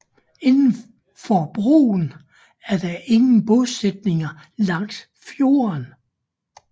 Indenfor broen er der ingen bosætning langs fjorden